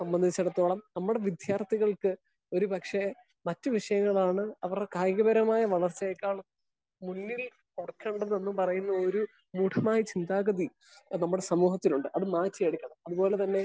Speaker 1 സംബന്ധിച്ചിടത്തോളം നമ്മുടെ വിദ്യാർത്ഥികൾക്ക് ഒരു പക്ഷെ മറ്റു വിഷയങ്ങളാണ് അവര് കായിക പരമായ വളർച്ചയേക്കാൾ മുന്നിൽ കൊട്ക്കേണ്ടതെന്ന് പറയുന്ന ഒരു മൂഢമായ ചിന്താഗതി നമ്മുടെ സമൂഹത്തിലുണ്ട്. അത് മാറ്റി എടുക്കണം. അത് പോലെ തന്നെ